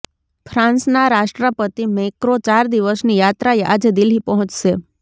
ફ્રાન્સના રાષ્ટ્રપતિ મેક્રોં ચાર દિવસની યાત્રાએ આજે દિલ્હી પહોંચશે